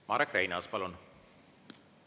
Marek Reinaas, palun!